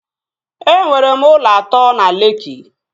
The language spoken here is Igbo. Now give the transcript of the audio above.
E nwere m ụlọ atọ na Lekki